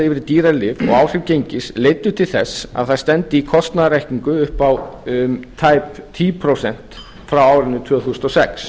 yfir í dýrari lyf og áhrif gengis leiddu til þess að það stefndi í kostnaðaraukningu upp á tæp tíu prósent frá árinu tvö þúsund og sex